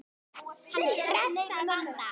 Hann hress að vanda.